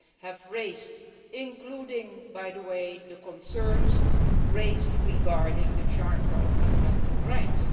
have raised, including the concerns raised regarding the Charter of Fundamental Rights.